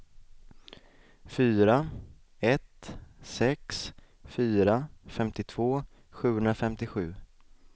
fyra ett sex fyra femtiotvå sjuhundrafemtiosju